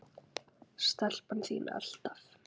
Stelpan þín, alltaf.